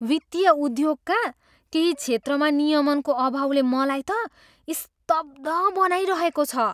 वित्तीय उद्योगका केही क्षेत्रमा नियमनको अभावले मलाई त स्तब्ध बनाइरहेको छ।